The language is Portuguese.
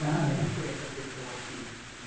Ah é Como foi essa questão aqui?